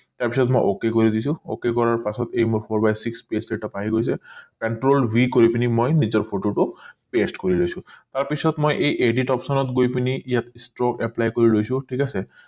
তাৰ পিছত মই ok কৰি দিছো ok কৰাৰ পাছত এই মই four by six setup আহি গৈছে control v কৰি পিনি মই নিজৰ photo টো paste কৰি লৈছো তাৰ পিছত মই এই edit option ত গৈ পিনি ইয়াত apply কৰি লৈছো ঠিক আছে